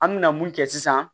An mina mun kɛ sisan